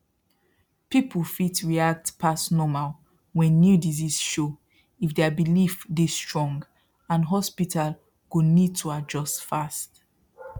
people fit react past normal when new disease show if their belief dey strong and hospital go need to adjust fast